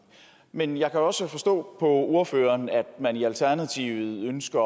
men jeg kan også forstå på ordføreren at man i alternativet ønsker